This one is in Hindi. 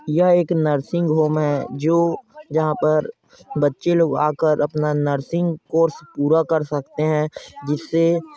यह एक नरसिंग होम है जो यहाँ पर बच्चे लोग आकर अपना नर्सिंग कोर्स कर पूरा कर सकते है जिससे--